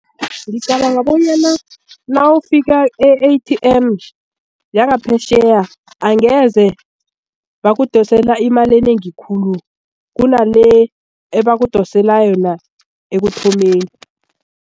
Ngicabanga bonyana nawufika e-A_T_M yangaphetjheya angeze bakudosele imali enengi khulu kunale ebakudosela yona ekuthomeni.